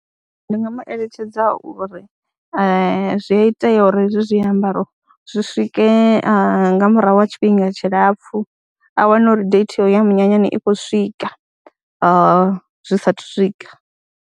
Ndi nga mu eletshedza uri zwi a itea uri hezwi zwiambaro zwi swike nga murahu ha tshifhinga tshilapfhu a wane uri date ya u ya munyanyani i khou swika ha zwi saathu swika,